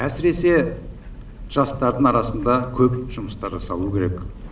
әсіресе жастардың арасында көп жұмыстар жасалуы керек